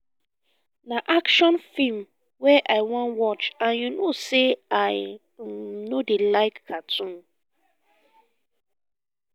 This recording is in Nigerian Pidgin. na action film wey i wan watch and you no say i um no dey like cartoon